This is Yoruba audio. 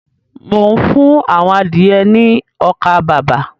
Mò ń fún àwọn adìẹ ní ọkà-bàbà.